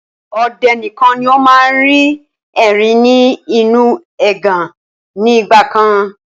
Ọdẹ nìkan ni ó máa ń rí erin ni inu ẹgàn ni ìgbàkan